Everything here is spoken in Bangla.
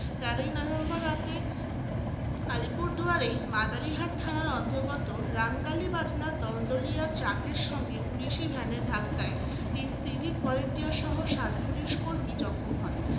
তেরোই নভেম্বর রাতে আলিপুরদুয়ারে মাদারিহাট থানার অন্তর্গত রাঙ্গালিবাজনা দল-দলিয়া truck এর সঙ্গে police van ধাক্কায় তিন civic volunteer সহ সাত police কর্মী জখম হন